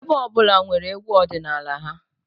Ebo ọ bụla nwere egwú ọdịnala ha